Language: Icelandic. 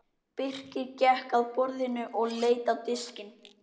Birkir gekk að borðinu og leit á diskinn.